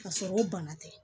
K'a sɔrɔ o bana tɛ